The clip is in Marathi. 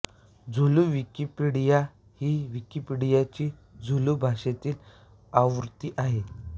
झुलू विकिपीडिया ही विकिपीडियाची झुलू भाषेततील आवृत्ती आहे